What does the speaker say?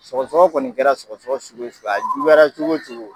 Sɔgɔsɔgɔ kɔni kɛra sɔgɔsɔgɔ sugu o sugu ye juyara cogo cogo